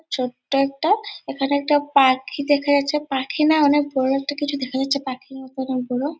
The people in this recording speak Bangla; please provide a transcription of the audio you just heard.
ছোট্ট একটা এইখানে একটা পাখি দেখা যাচ্ছে | পাখি না অনেক বড় একটা কিছু দেখা যাচ্ছে পাখির মতোন পুরো ।